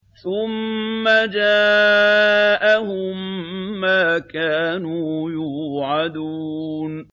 ثُمَّ جَاءَهُم مَّا كَانُوا يُوعَدُونَ